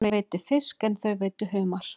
Hann veiddi fisk en þau veiddu humar.